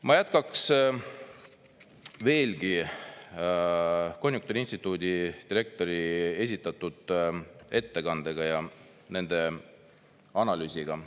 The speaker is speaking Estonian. Ma jätkaks veelgi konjunktuuriinstituudi direktori esitatud ettekandega ja nende analüüsiga.